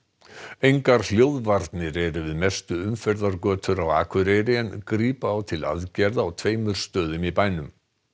engar hljóðvarnir eru við mestu umferðargötur á Akureyri en grípa á til aðgerða á tveimur stöðum í bænum